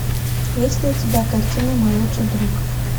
есть ли у тебя картина мой лучший друг